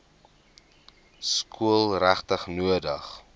skool regtig nodig